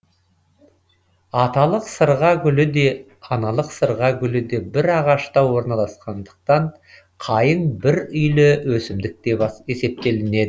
аталық сырға гүлі де аналық сырға гүлі де бір ағашта орналасқандықтан қайың бір үйлі өсімдік деп есептелінеді